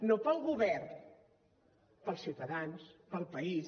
no pel govern pels ciutadans pel país